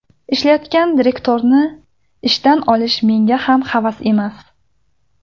Ishlayotgan direktorni ishdan olish menga ham havas emas.